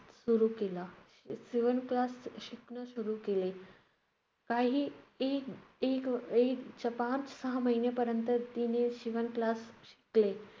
सुरु केला~ शि~ शिवण class शिकणं सुरु केले. काही एक~ एक~ एक स्वतःच सहा महिनेपर्यंत तिने शिवण class शिकले.